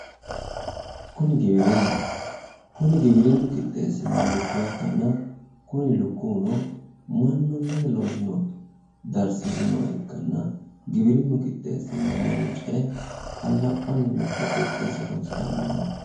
Kuni giwirinnaho kuni giwirinnu qixxeessinoha lukkuwa ikkanna kuni lukkuwuno mannu angate loosinoha darsiisinoha ikkanna giwirinnu qixxeesseenna mannu ce"e qallaphphanninna hatto quuphphensa horoonsiranni nooho